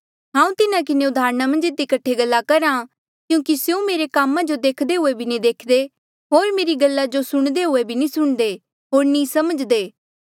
हांऊँ तिन्हा किन्हें उदाहरणा मन्झ इधी कठे गल्ला करहा क्यूंकि स्यो मेरे कामा जो देख्दे हुये भी नी देख्दे होर मेरी गल्ला जो सुणदे हुये भी नी सुणदे होर नी समझ्दे